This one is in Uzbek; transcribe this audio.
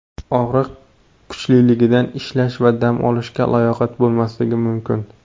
Og‘riq kuchliligidan ishlash va dam olishga layoqat bo‘lmasligi mumkin.